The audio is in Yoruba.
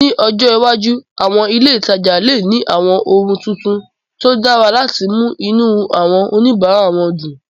Ní ọjọ́ iwájú, àwọn ilé ìtajà lè ní àwọn ohun tuntun tó dára láti mú inú àwọn oníbàárà dùn